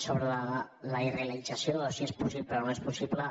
sobre la irrealització o si és possible o no és possible